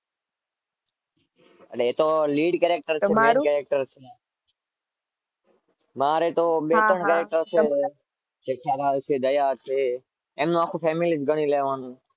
એ તો લીડ કરે,